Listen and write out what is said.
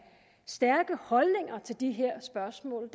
stærke holdninger til de her spørgsmål